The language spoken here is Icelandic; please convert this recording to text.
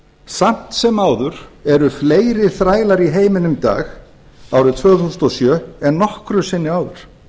samt sem áður eru fleiri þrælar í heiminum í dag árið tuttugu þúsund sjötíu og átta en nokkru sinni áður